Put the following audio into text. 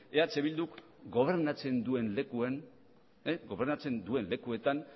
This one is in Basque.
eh bildun gobernatzen duen lekuetan